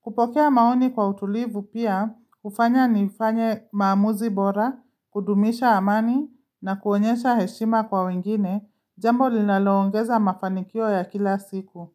Kupokea maoni kwa utulivu pia, hufanya ni ufanye maamuzi bora, kudumisha amani na kuonyesha heshima kwa wengine jambo linaloongeza mafanikio ya kila siku.